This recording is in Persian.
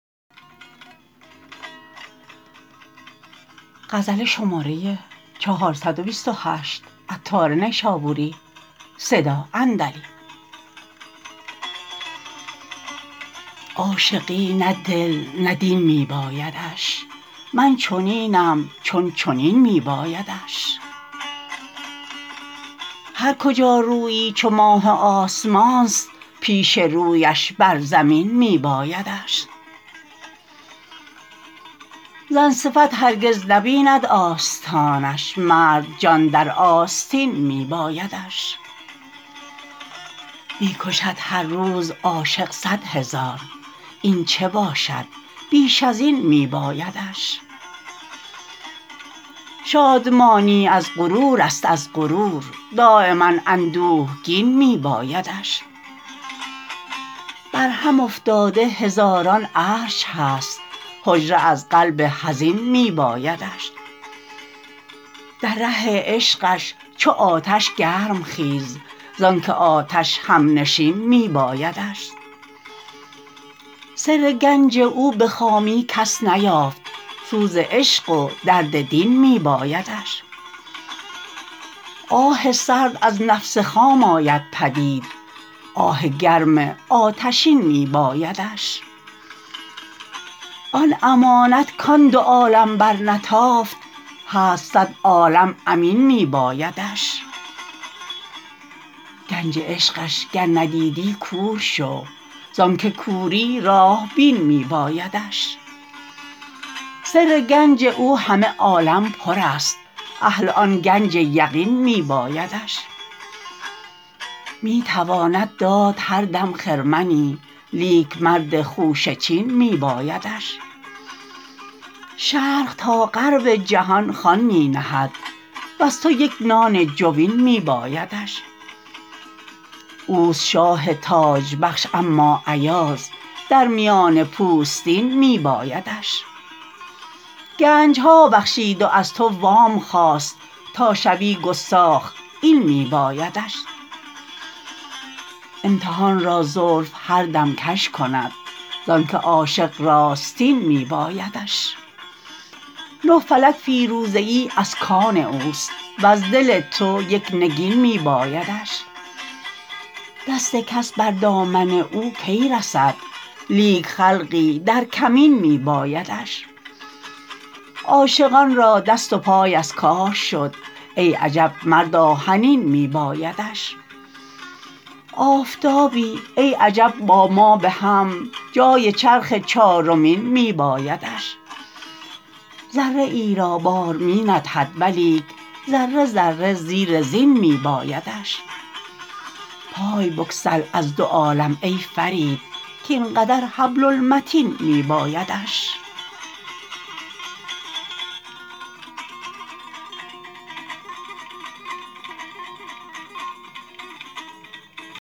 عاشقی نه دل نه دین می بایدش من چنینم چون چنین می بایدش هر کجا رویی چو ماه آسمان است پیش رویش بر زمین می بایدش زن صفت هرگز نبیند آستانش مرد جان در آستین می بایدش می کشد هر روز عاشق صد هزار این چه باشد بیش ازین می بایدش شادمانی از غرور است از غرور دایما اندوهگین می بایدش برهم افتاده هزاران عرش هست حجره از قلب حزین می بایدش در ره عشقش چو آتش گرم خیز زانکه آتش همنشین می بایدش سر گنج او به خامی کس نیافت سوز عشق و درد دین می بایدش آه سرد از نفس خام آید پدید آه گرم آتشین می بایدش آن امانت کان دو عالم برنتافت هست صد عالم امین می بایدش گنج عشقش گر ندیدی کور شو زانکه کوری راه بین می بایدش سر گنج او همه عالم پر است اهل آن گنج یقین می بایدش می تواند داد هر دم خرمنی لیک مرد خوشه چین می بایدش شرق تا غرب جهان خوان می نهد و از تو یک نان جوین می بایدش اوست شاه تاج بخش اما ایاز در میان پوستین می بایدش گنج ها بخشید و از تو وام خواست تا شوی گستاخ این می بایدش امتحان را زلف هر دم کژ کند زانکه عاشق راستین می بایدش نه فلک فیروزه ای از کان اوست وز دل تو یک نگین می بایدش دست کس بر دامن او کی رسد لیک خلقی در کمین می بایدش عاشقان را دست و پای از کار شد ای عجب مرد آهنین می بایدش آفتابی ای عجب با ما بهم جای چرخ چارمین می بایدش ذره ای را بار می ندهد ولیک ذره ذره زیر زین می بایدش پای بگسل از دو عالم ای فرید کین قدر حبل المتین می بایدش